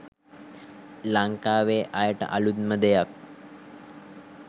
ලංකාවේ අයට අලුත්ම දෙයක්.